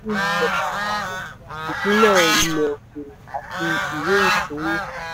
ìjọba àpapọ̀ ìpínlẹ̀ ilẹ̀ òkèèrè àti ìwé ìṣówó.